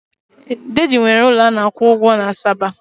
Deji nwere ụlọ a na akwụ ụgwọ na Asaba.